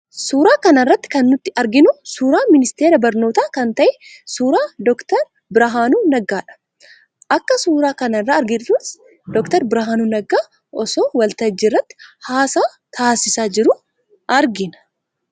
Suuraa kana irratti kan nuti arginu, suuraa ministeera barnootaa kan ta'e, suuraa Dr. Birhaanuu Naggaadha. Akka suuraa kana irraa arginuttis Dr. Birhaanuu Naggaa osoo waltajjii irratti haasaa taasisaa jiruu argina.